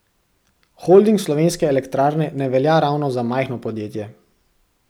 Holding Slovenske elektrarne ne velja ravno za majhno podjetje.